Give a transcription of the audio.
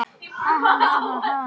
Já, þetta er rétt.